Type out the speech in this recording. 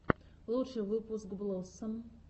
лучший выпуск блоссом